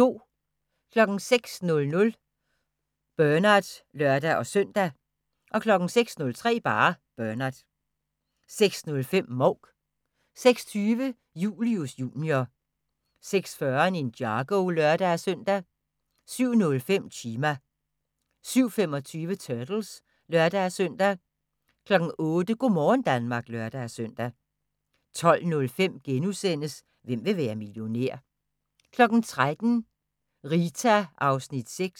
06:00: Bernard (lør-søn) 06:03: Bernard 06:05: Mouk 06:20: Julius Jr. 06:40: Ninjago (lør-søn) 07:05: Chima 07:25: Turtles (lør-søn) 08:00: Go' morgen Danmark (lør-søn) 12:05: Hvem vil være millionær? * 13:00: Rita (6:24)